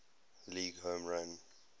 league home run